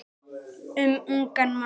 Um ungan mann.